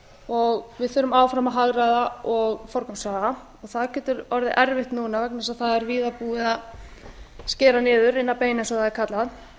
og við þurfum áfram að hagræða og forgangsraða og það getur orðið erfitt núna vegna þess að það er víða búið að skera niður inn að beini eins og það er kallað